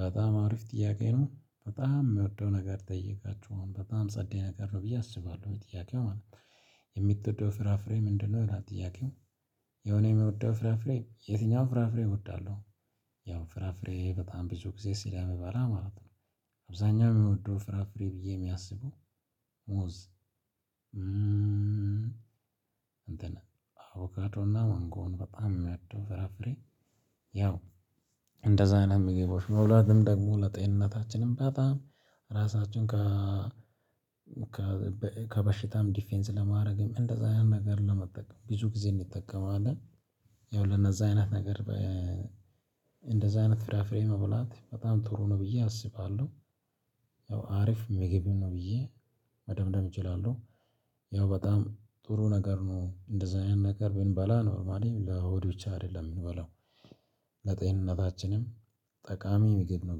በጣም አሪፍ ጥያቄ ነው በጣም ምወደው ነገር ጠየቃችሁ አሁን በጣም ጸዴ ነገር ነው ብዬ አስባለሁ ጥያቄው ማለት ነው። የምትወደው ፍራፍሬ ምንድነው? ይላል ጥያቄው ያው እኔ ምወደው ፍራፍሬ የትኛውም ፍራፍሬ እወዳለሁ። ያው ፍራፍሬ በጣም ብዙ ጊዜ ስለምባላ ማለት ነው። አብዛኛው ምወደው ፍራፍሬ ብዬ ሚያስበው ሙዝ እንትን አቮካዶ እና ማንጎን በጣም ምወደው ፍራፍሬ ያው እንደዛ አይነት ምግቦችን መብላትም ደግሞ ለጤንነታችንም በጣም ራሳችን ከ ከበሽታም ዲፌንስ ለማድረግም እንደዛ አይነት ነገር ለመጠቀም ብዙ ጊዜ እንጠቀማለን ያው ለነዛ አይነት ነገር በ እንደዛ አይነት ፍራፍሬ መብላት በጣም ጥሩ ነው ብዬ አስባለሁ። ያው አሪፍ ምግብ ነው ብዬ መደምደም እችላለሁ። ያው በጣም ጥሩ ነገር ነው እንደዚህ አይነት ነገር ብንበላ ኖርማሊም ለሆድ ብቻ አይደለም ምንበላው። ለጤንነታችንም ጠቃሚ ምግብ ነው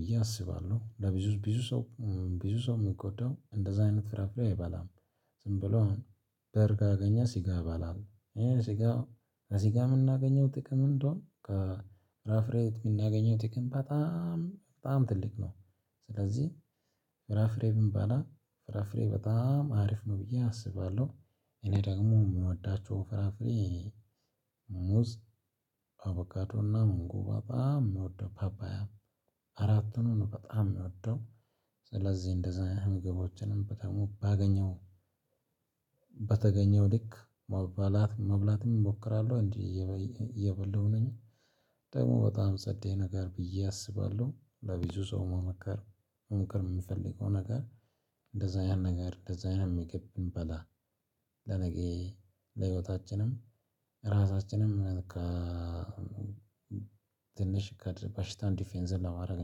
ብዬ አስባለሁ። ለብዙ ብዙ ሰው ብዙ ሰው ሚጎዳው እንደዛ አይነት ፍራፍሬ አይባልም። ዝም ብሎ አሁን ብር ካገኘ ስጋ ይበላል። ስጋ ከስጋ ምናገኘው ጥቅም እንደውም ከ ፍራፍሬ ምናገኘው ጥቅም በጣም በጣም ትልቅ ነው ስለዚህ ፍራፍሬ ብንባላ ፍራፍሬ በጣም አሪፍ ነው ብዬ አስባለሁ። እኔ ደግሞ ምወዳቸው ፍራፍሬ ሙዝ፣ አቮካዶና ማንጎ በጣም ምወደው ፓፓያ አራትኑን በጣም ሚወደው። ስለዚህ እንደዛ ምግቦችንም ደግሞ ባገኘው ልክ መበላት መብላትም ሞክራለሁ። እንዲህ እየበላሁ ነኝ። ደግሞ በጣም ጸዴ ነገር ብዬ አስባለሁ። ለብዙ ሰው መመከር መምከር ምፈልገው ነገር እንደዛ አይነት ነገር እንደዛ አይነት ምግብ ብንበላ ለነገ ለህይወታችንም ራሳችንም ከ ትንሽ በሽታን ዲፌንስ ለማድረግ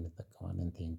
እንጠቀማለን ቴንኪው